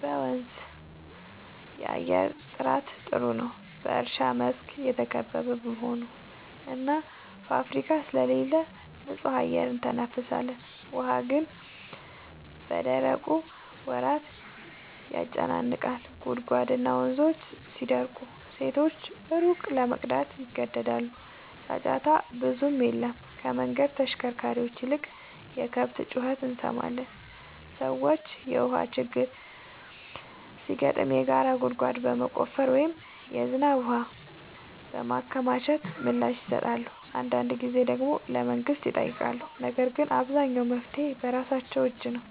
በመንዝ የአየር ጥራት ጥሩ ነው፤ በእርሻ መስክ የተከበበ በመሆኑ እና ፋብሪካ ስለሌለ ንጹህ አየር እንተነፍሳለን። ውሃ ግን በደረቁ ወራት ያጨናንቃል፤ ጉድጓድና ወንዞች ሲደርቁ ሴቶች ሩቅ ለመሄድ ይገደዳሉ። ጫጫታ ብዙም የለም፤ ከመንገድ ተሽከርካሪዎች ይልቅ የከብት ጩኸት እንሰማለን። ሰዎች የውሃ ችግር ሲገጥም የጋራ ጉድጓድ በመቆፈር ወይም የዝናብ ውሃ በማከማቸት ምላሽ ይሰጣሉ። አንዳንድ ጊዜ ደግሞ ለመንግሥት ይጠይቃሉ፤ ነገር ግን አብዛኛው መፍትሔ በራሳቸው እጅ ነው።